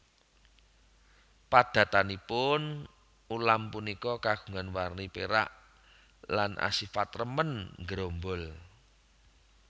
Padatanipun ulam punika kagungan warni pérak lan asifat remen nggerombol